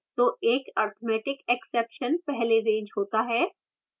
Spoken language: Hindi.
तो एक arithmeticexception पहले रेज़ होता है